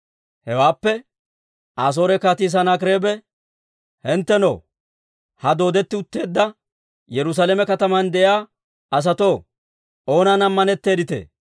Hewenne, «Asoore Kaatii Sanaakireebe, ‹Hinttenoo, ha dooddetti utteedda Yerusaalame kataman de'iyaa asatoo, oonan ammanetteeditee?